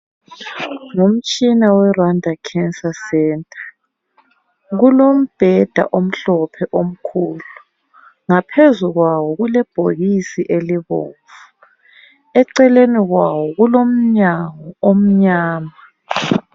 Ngumtshina weRwanda Cancer Centre. Kulombheda omhlophe omkhulu. Ngaphezu kwawo kulebhokisi elibomvu . Eceleni kwawo kulomnyango omnyama.